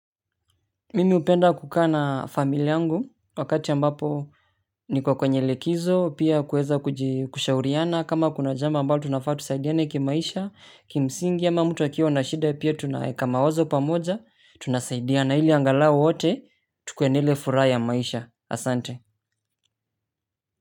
Mimi hupenda kukaa na familia yangu wakati ambapo niko kwenye likizo pia kuweza kushauriana kama kuna jambo ambalo tunafaa tusaidiane kimaisha, kimsingi ama mtu akiwa na shida pia tunaweka mawazo pamoja tunaisaidiana ili angalau wote tukue na ile furaha ya maisha asante.